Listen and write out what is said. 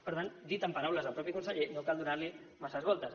per tant dit amb paraules del mateix conseller no cal donar li massa voltes